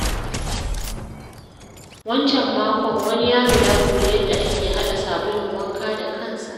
Wancan makon wani yaro ya koyi yadda ake haɗa sabulun wanka da kansa.